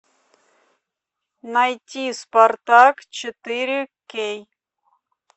найти спартак четыре кей